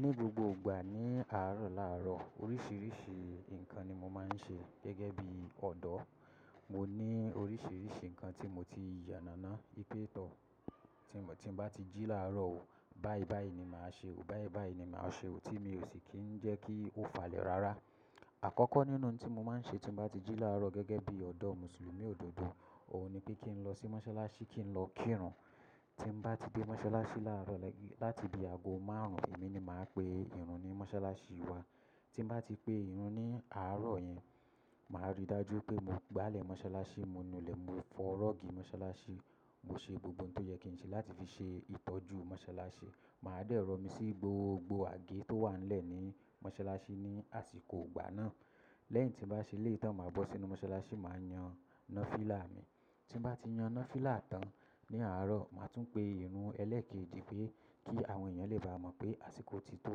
Ní gbogbo ìgbà ní àárọ̀ làárọ̀ oríṣiríṣi nǹkan ni mo máa ń ṣe gẹ́gẹ́ bí ọ̀dọ́. Mo ní oríṣiríṣi nǹkan tí mo ti yànàná pé tọ̀ tí mo bá ti jí làárọ̀ o, báibái ni màá ṣe o, báibái ni màá ṣe o tí mi ò sì kí ń jẹ́ kí ó falẹ̀ rárá. Àkọ́kọ́ nínú ohun tí mo máa ń ṣe tí mo bá ti jí làárọ̀ gẹ́gẹ́ bí ọ̀dọ́ Mùsùlùmí òdodo, òun ni pé kí n lọ sí mọ́sálásí kí n lọ kírun. Tí mo bá ti dé mọ́sálásí làárọ̀, láti ibi aago márùn-ún èmi ni màá pe ìrun ní mọ́sálásí wa. Tí mo bá ti pe ìrun ní àárọ̀ yẹn, màá rí dájú pé mo gbálẹ̀ mọ́sálásí, mo nu ilẹ̀, mo fọ rọ́ọ̀gì mọ́sálásí, mo ṣe gbogbo ohun tó yẹ kí n ṣe láti fi ṣe ìtọ́jú mọ́sálásí. Màá dẹ̀rọ mi sí gbogbo àgé tó wà nílẹ̀ ní mọ́sálásí ní àsìkò ìgbà náà. Lẹ́yìn tí mo bá ṣe eléyìí tàn, màá bọ́ sínú mọ́sálásí, màá yan nafila mi. Tí mo bá ti yan nafila tán ní àárọ̀, màá tún pe ìrun ẹlẹ́kẹ́ẹ̀jì pé kí àwọn èèyàn lè bá mọ̀ pé àsìkò ti tó,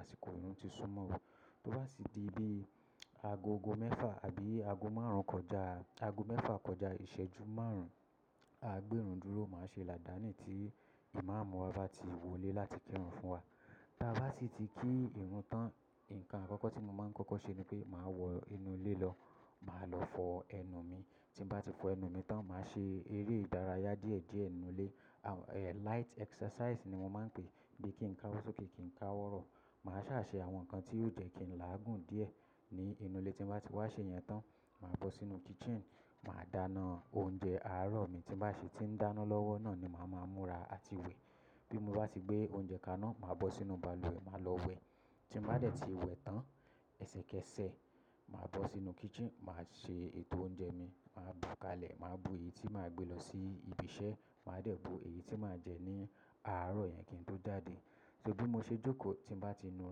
àsìkò ìrun ti súmọ́ o. Tó bá sì di bi aagogọ́ mẹ́fà àbí aago márùn-ún kọjá aago mẹ́fà kọjá ìṣẹ́jú márùn-ún, a gbé ìrun dúró, màá ṣe làdání tí Imam wa bá ti wọlé láti kírun fún wa. Tá bá sì ti kí ìrun tán, nǹkan àkọ́kọ́ tí mo máa ń kọ́kọ́ ṣe ni pé màá wọ inú ilé lọ, màá lọ fọ ẹnu mi. Tí mo bá ti fọ ẹnu mi tán, màá ṣe eré ìdárayá díẹ̀díẹ̀ nínú ilé, à, light exercise ni mo máa ń pè é bí kí n káwọ́ sókè, kí n káwọ́ rọ̀. Màá ṣáà ṣe àwọn nǹkan tí yóò jẹ́ kí n làágùn díẹ̀ ní inú ilé. Tí mo bá ti wá ṣe ìyẹn tán, màá bọ́ sínú kitchen, màá dáná oúnjẹ àárọ̀ mi tí màá ṣe. Tí n dáná lọ́wọ́ náà ni màá màá múra àti wẹ̀. Bí mo bá ti gbé oúnjẹ kaná, màá bọ́ sínú bàlùwẹ̀, màá lọ wẹ̀. Tí mo bá dẹ̀ ti wẹ̀ tán, ẹsẹkẹsẹ, màá bọ́ sínú kitchen, màá ṣe ètò oúnjẹ mi, màá bu kalẹ̀, màá bu èyí tí màá gbé lọ sí ibi iṣẹ́, màá dẹ̀ bu èyí tí màá jẹ ní àárọ̀ yẹn kí n tó jáde. So bí mo ṣe jókòó, tí mo bá ti nu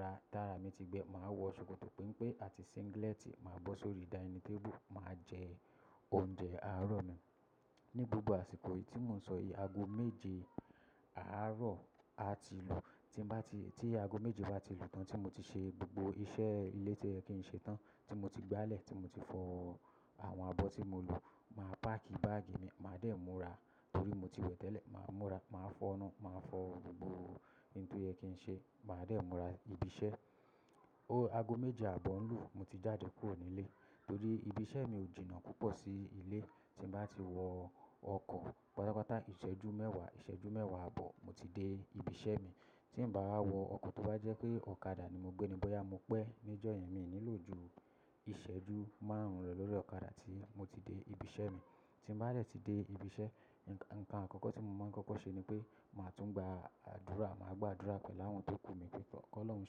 ra, tára mi ti gbẹ, màá wọ ṣòkòtò pénpé àti singlet, màá bọ́ sórí dining table, màá jẹ oúnjẹ àárọ̀ mi. Ní gbogbo àsìkò yìí tí mò ń sọ yìí, aago méje àárọ̀ a ti lù. Tí mo bá ti, tí aago méje bá ti lù tán tí mo ti ṣe gbogbo iṣẹ́ ilé tóyẹ kìí ṣe tán tí mo ti gbálẹ̀, tí mo ti fọ àwọn abọ́ tí mo lò, màá páàkì báàgì mi, màá dẹ̀ múra torí mo ti wẹ̀ tẹ́lẹ̀. Màá múra, màá fọ́'nu, màá fọ gbogbo ohun tí ó yẹ kí n ṣe, màá dẹ̀ múra ibi iṣẹ́. O, aago méje ààbọ̀ ń lù, mo ti jáde kúrò nílé torí ibi iṣẹ́ mi ò jìnnà púpọ̀ sí ilé. Tí mo bá ti wọ ọkọ̀, pátápátá ìṣẹ́jú mẹ́wàá, ìṣẹ́jú mẹ́wàá àbọ̀, mo ti dé ibi iṣẹ́ mi. Tí n bá wọ ọkọ̀, tó bá jẹ́ pé ọ̀kadà ni mo gbé ni bóyá mo pẹ́ níjọ́ yen, mi ò nílò ju ìṣẹ́jú márùn-ún rẹ lórí ọ̀kadà tí mo ti dé ibi iṣẹ́ mi. Tí mo bá dẹ̀ ti dé ibi iṣẹ́, nǹkan àkọ́kọ́ tí mo máa ń kọ́kọ́ ṣe ni pé màá tún gba àdúrà, màá gbà'dúrà pẹ̀lú àwọn tó kú mi pé "Kọ́lọ́ún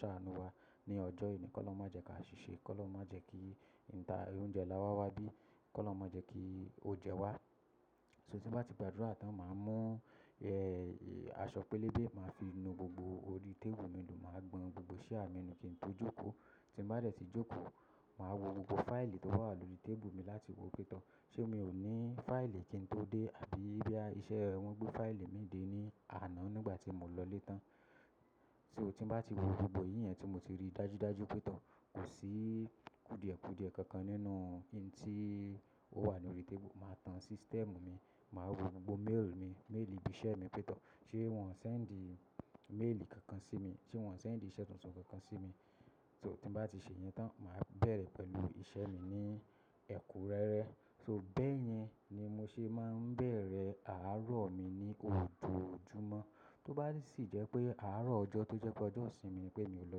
ṣàánú wa ní ọjọ́ èní, kolọ́un má jẹ kí a ṣìṣe, kolọ́un má jẹ kí inta oúnjẹ láwá wá bí, kí lọ́ má jẹ́ kí ò jẹ wá." So tí mo bá ti gbà'dúrà tán, màá mú, ẹ́, aṣọ pélébé, màá fi nu gbogbo orí tébù mi nù, màá gbọn gbogbo ṣíà mi nù kí n tó jókòó. Tí mo bá dẹ̀ ti jókòó, màá wo gbogbo fáìlì tó wà lórí tébùlù mi láti wo pé tó, ṣe mi ò ní fáìlì kí n tó dé àbí bí iṣẹ́ wọn gbé fáìlì mi dé ní àná nígbà tí mo lọ létán. So tí mo bá ti wo gbogbo ìyẹn tí mo ti rí dájúdájú pé tó, kò sí kùdìẹ̀kùdìẹ̀ kankan nínú ohun tí ó wà ní orí tébùlù, màá tan system mi, màá wo gbogbo mail mi, mail ibi iṣẹ́ mi pétọ̀. Ṣé wọ́n ò sendi mail kankan sí mi? Ṣé wọ́n ò sendi iṣẹ́ tuntun kankan sí mi? So tí mo bá ti ṣe ìyẹn tán, màá bẹ̀rẹ̀ pẹ̀lú iṣẹ́ mi ní ẹ̀kúnrẹrẹ. So bẹ́ẹ̀ yẹn ni mo ṣe máa ń bẹ̀rẹ̀ àárọ̀ mi ní ojoojúmọ́. Tó bá sì jẹ́ pé àárọ̀ ọjọ́ tó jẹ́ pé ọjọ́ ìsinmi ni pé mi ò lọ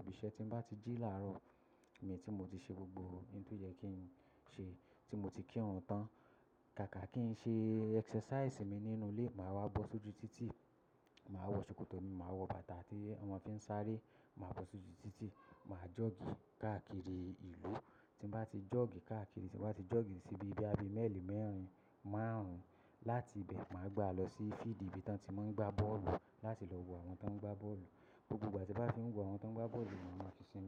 ibi iṣẹ́, tí mo bá ti jí làárọ̀ mi tí mo ti ṣe gbogbo ohun tí ó yẹ kí n ṣe, tí mo ti kírun tán, kàkà kí n ṣe exercise mi nínú ilé, màá wá bọ́ sójú títì, màá wọ ṣòkòtò mi, màá wọ bàtà tí wọn mo fi ń sáré, màá bọ́ sójú títì, màá jog káàkiri ìlú. Tí mo bá ti jog káàkiri, tí mo bá ti jog sí ibi bóyá bí i mẹ́lì mẹ́rin, márùn-ún, láti ibẹ̀ màá gbà a lọ sí field ibi tí wọ́n ti máa ń gbá bọ́ọ̀lù láti lọ wo àwọn tó ń gbá bọ́ọ̀lù. Gbogbo ìgbà tí n bàá fi ń wo àwọn tó ń gbá bọ́ọ̀lù ni màá fi sinmi.